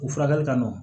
U furakɛli ka nɔgɔn